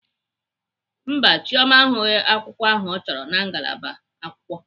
Mba, Chioma ahụghị akwukwo ahụ ọ chọrọ na ngalaba akwụkwọ.